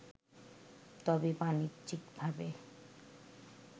তবে বাণিজ্যিকভাবে